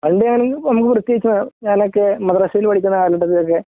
അതിൻ്റെ ആണെങ്കിൽ നമുക്ക് ഞാനൊക്കെ മദ്രസയിൽ പഠിക്കുന്ന ഈ കാലഘട്ടത്തിലൊക്കെ